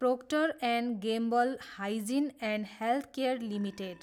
proctor and Gamble Hygiene and Health Care limited